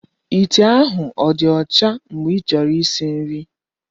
Ite ahụ ọ dị ọcha mgbe ịchọrọ isi nri?